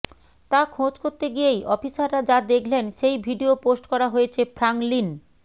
তা খোঁজ করতে গিয়েই অফিসাররা যা দেখলেন সেই ভিডিয়ো পোস্ট করা হয়েছে ফ্রাঙ্কলিন